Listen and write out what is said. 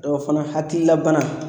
O fana hakilila bana